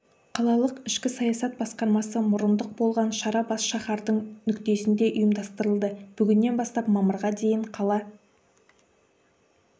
қалалық ішкі саясат басқармасы мұрындық болған шара бас шаһардың нүктесінде ұйымдастырылды бүгіннен бастап мамырға дейін қала